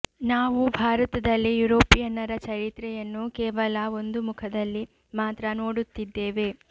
ನಾವು ಭಾರತದಲ್ಲಿ ಯುರೋಪಿಯನ್ನರ ಚರಿತ್ರೆಯನ್ನು ಕೇವಲ ಒಂದು ಮುಖದಲ್ಲಿ ಮಾತ್ರ ನೋಡುತ್ತಿದ್ದೇವೆ